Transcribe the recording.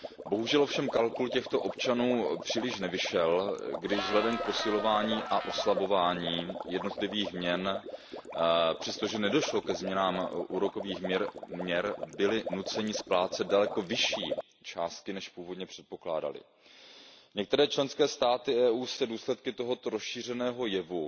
Bohužel ovšem kalkul těchto občanů příliš nevyšel, když vzhledem k posilování a oslabování jednotlivých měn, přestože nedošlo ke změnám úrokových měr, byli nuceni splácet daleko vyšší částky, než původně předpokládali. Některé členské státy Evropské unie se důsledky tohoto rozšířeného jevu